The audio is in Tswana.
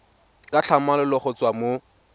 ka tlhamalalo go tswa mo